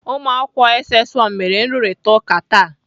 Ụmụakwụkwọ SS 1 mere nrụrịtaụka taa.